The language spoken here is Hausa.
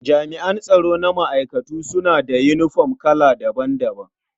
Jami'an tsaro na ma'aikatu suna da yinifom kala daban-daban.